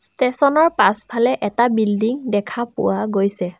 Station ৰ পাছফালে এটা বিল্ডিং দেখা পোৱা গৈছে।